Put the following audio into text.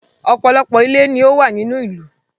Ọ̀pọ̀lọpọ̀ ilé ni ó wà nínú ìlú